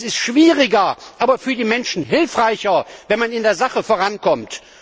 Es ist schwieriger, aber für die Menschen hilfreicher, wenn man in der Sache vorankommt.